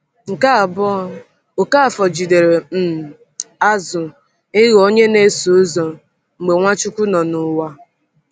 Nke abụọ, Okafor jidere um azụ ịghọ onye na-eso ụzọ mgbe Nwachukwu nọ n’ụwa.